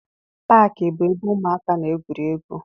Paakị bụ ebe ụmụaka na-egwuri egwu.